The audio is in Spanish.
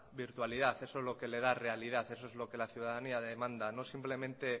virtualidad eso es lo que le da realidad eso es lo que la ciudadanía demanda no simplemente